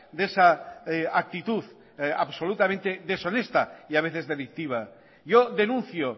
de esa actitud absolutamente deshonesta y a veces delictiva yo denuncio